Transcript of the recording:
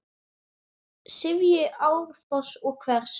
sifji árfoss og hvers!